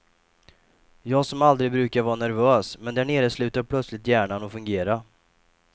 Jag som aldrig brukar var nervös, men där nere slutade plötsligt hjärnan att fungera.